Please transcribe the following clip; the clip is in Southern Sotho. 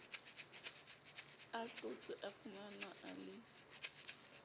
ahlotswe a fumanwe a le